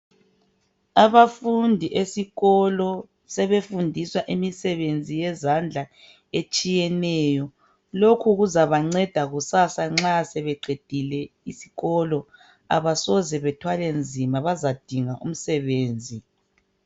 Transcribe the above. Abafundi esikolo sebefundiswa imisebenzi yezandla etshiyeneyo lokhu kuzabanceda kusasa nxa sebeqedile isikolo abasoze bathwale nzima bazadinga umsebenzi.